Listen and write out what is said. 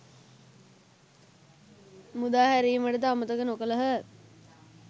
මුදා හැරීමටද අමතක නොකළහ.